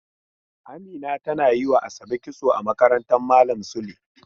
Amina tana yi wa ASabe kitso a makarantan malam Sule.